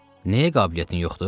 Nəyə qabiliyyətin yoxdur?